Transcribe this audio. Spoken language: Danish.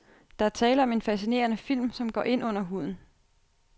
Der er tale om en fascinerende film, som går ind under huden.